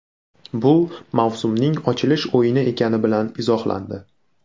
Bu mavsumning ochilish o‘yini ekani bilan izohlandi.